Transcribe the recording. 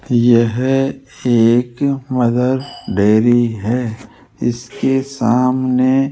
यह एक Mother Dairy है इसके सामने --